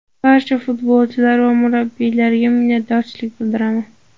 Barcha futbolchilar va murabbiylarga minnatdorchilik bildiraman.